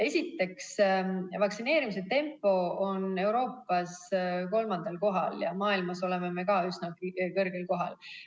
Esiteks, vaktsineerimise tempo Eestis on Euroopas kolmandal kohal ja maailmas oleme me ka üsnagi kõrgel kohal.